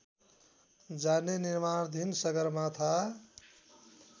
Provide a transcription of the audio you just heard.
जाने निमार्णधिन सगरमाथा